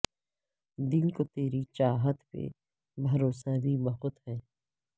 دل کو تری چاہت پہ بھروسہ بھی بہت ہے